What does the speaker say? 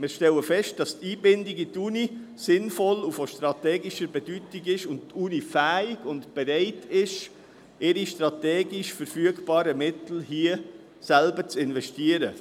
Wir stellen fest, dass die Einbindung in die Universität sinnvoll und von strategischer Bedeutung und dass die Universität fähig und bereit ist, ihre strategisch verfügbaren Mittel hier selbst zu investieren.